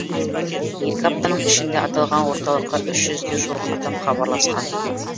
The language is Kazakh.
екі аптаның ішінде аталған орталыққа үш жүзге жуық адам хабарласқан